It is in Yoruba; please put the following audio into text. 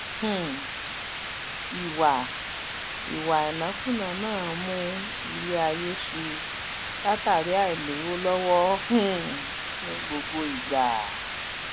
um ìwa ìwa ìnákúnàá náà ń mún ilé ayé su látàri àìlówó lọwọ um ní gbogbo ìgbà